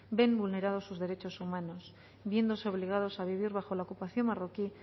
ven vulnerados sus derechos humanos viéndose obligados a vivir bajo la ocupación marroquí